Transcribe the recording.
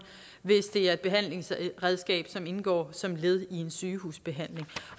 hvis det er et behandlingsredskab som indgår som led i en sygehusbehandling